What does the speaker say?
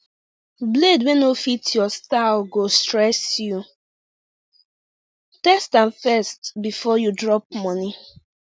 blade wey no fit your style go stress youtest am first before you drop money